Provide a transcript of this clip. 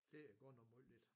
Det er godt nok meget lidt